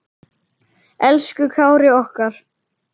Elsku Kári okkar.